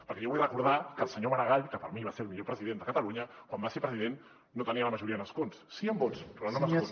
perquè jo vull recordar que el senyor maragall que per mi va ser el millor president de catalunya quan va ser president no tenia la majoria d’escons sí en vots però no en escons